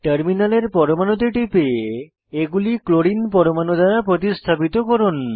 টার্মিনালের পরমাণুতে টিপে এগুলি ক্লোরিন পরমাণু দ্বারা প্রতিস্থাপিত করুন